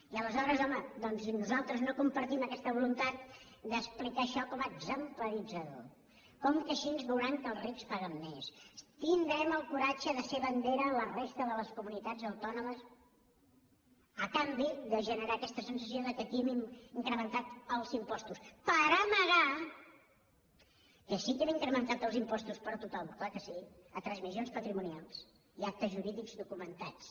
i aleshores home doncs si nosaltres no compartim aquesta voluntat d’explicar això com a exemplaritzador com que així veuran que els rics paguen mes tindrem el coratge de ser bandera a la resta de les comunitats autònomes a canvi de generar aquesta sensació que aquí hem incrementat els impostos per amagar que sí que hem incrementat els impostos per a tothom clar que sí a transmissions patrimonials i actes jurídics documentats